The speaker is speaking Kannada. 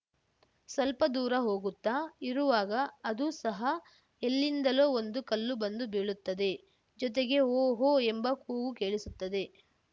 ಸ್ವಲ್ಪ ದೂರ ಹೋಗುತ್ತಾ ಇರುವಾಗ ಅದೂ ಸಹ ಎಲ್ಲಿಂದಲೋ ಒಂದು ಕಲ್ಲು ಬಂದು ಬೀಳುತ್ತದೆ ಜೊತೆಗೆ ಹೋ ಹೋ ಎಂಬ ಕೂಗು ಕೇಳಿಸುತ್ತದೆ